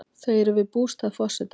Þau eru við bústað forsetans.